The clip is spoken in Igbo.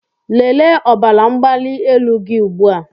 Lelee ọbara mgbali elu gị ugbu a!